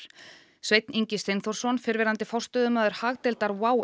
Sveinn Ingi Steinþórsson fyrrverandi forstöðumaður hagdeildar WOW